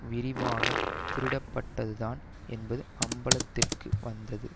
விரிவாக திருடப்பட்டது தான் என்பது அம்பலத்திற்கு வந்தது